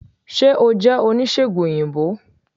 se o jẹ onisegùn oyinbo?